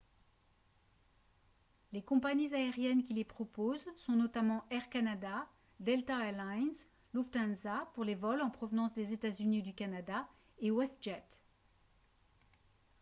les compagnies aériennes qui les proposent sont notamment air canada delta air lines lufthansa pour les vols en provenance des états-unis ou du canada et westjet